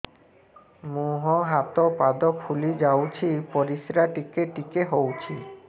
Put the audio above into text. ମୁହଁ ହାତ ପାଦ ଫୁଲି ଯାଉଛି ପରିସ୍ରା ଟିକେ ଟିକେ ହଉଛି